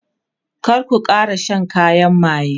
kar ku Kara Shan kayan maye!